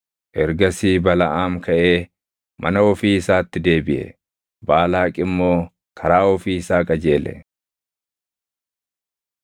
Ergasii Balaʼaam kaʼee mana ofii isaatti deebiʼe; Baalaaq immoo karaa ofii isaa qajeele.